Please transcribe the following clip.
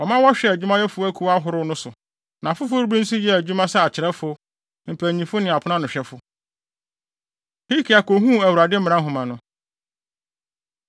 wɔma wɔhwɛɛ adwumayɛfo akuw ahorow no so. Na afoforo bi nso yɛɛ adwuma sɛ akyerɛwfo, mpanyimfo ne aponanohwɛfo. Hilkia Kohuu Awurade Mmara Nhoma No